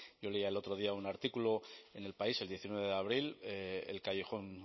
yo leía el otro día un artículo en el país el diecinueve de abril el callejón